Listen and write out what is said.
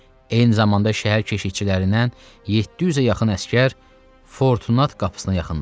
Eyni zamanda şəhər keşiyçilərindən 700-ə yaxın əsgər Fortunat qapısına yaxınlaşdı.